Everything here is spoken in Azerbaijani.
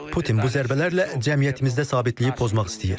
Putin bu zərbələrlə cəmiyyətimizdə sabitliyi pozmaq istəyir.